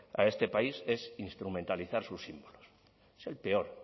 a este país es instrumentalizar sus símbolos es el peor